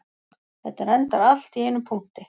Þetta endar allt í einum punkti